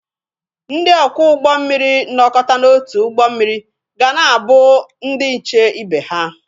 Ndị ọkwọ ụgbọ mmiri nọkọta n'otu ụgbọ mmiri ga na-abụ ndị nche ibe ha.